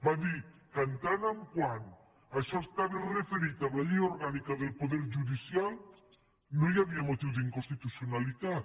va dir que en tant que això estava referit en la llei orgànica del poder judicial no hi havia motiu d’inconstitucionalitat